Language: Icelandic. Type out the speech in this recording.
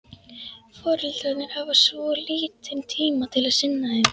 Foreldrarnir hafa svo lítinn tíma til að sinna þeim.